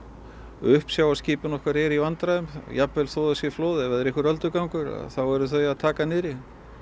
uppsjávarskipin okkar eru í vandræðum jafnvel þó það sé flóð ef það er einhver öldugangur þá eru þau að taka niðri